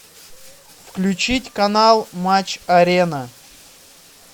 включить канал матч арена